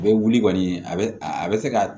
A bɛ wuli kɔni a bɛ a bɛ se ka